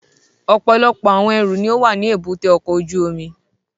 Ọpọlọpọ awọn ẹru ni o wa ni èbúté ọkọ ojú omi